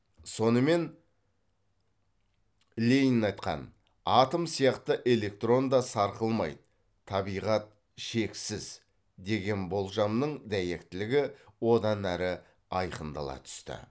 сонымен ленин айтқан атом сияқты электрон да сарқылмайды табиғат шексіз деген болжамның дәйектілігі онан әрі айқындала түсті